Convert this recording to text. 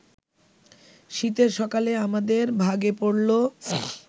শীতের সকালে আমাদের ভাগে পড়ল